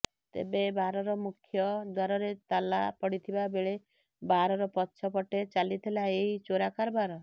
ତେବେ ବାରର ମୁଖ୍ୟ ଦ୍ୱାରରେ ତାଲା ପଡିଥବା ବେଳେ ବାରର ପଛ ପଟେ ଚାଲିଥିଲା ଏହି ଚୋରା କାରବାର